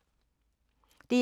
DR2